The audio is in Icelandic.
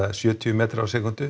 sjötíu metra á sekúndu